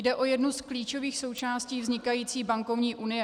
Jde o jednu z klíčových součástí vznikající bankovní unie.